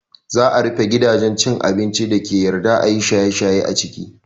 Za a rufe gidajen cin abincin dake yarda ayi shaye shaye a ciki